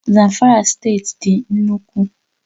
Zamfara State dị nnukwu